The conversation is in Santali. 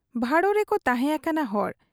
ᱵᱷᱟᱲᱚ ᱨᱮᱠᱚ ᱛᱟᱦᱮᱸ ᱟᱠᱟᱱᱟ ᱦᱚᱲ ᱾